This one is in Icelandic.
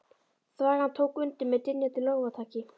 Þvagan tók undir með dynjandi lófataki.